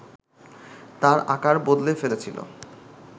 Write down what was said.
তার আকার বদলে ফেলেছিল